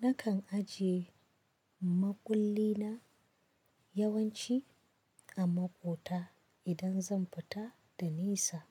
Nakan ajiye makulli na yawanci a maƙota idan zan fita da nisa.